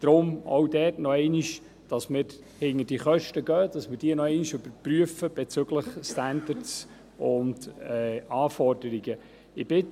Deshalb nochmals: Wir wollen, dass wir uns dieser Kosten annehmen und sie nochmals bezüglich Standards und Anforderungen überprüfen.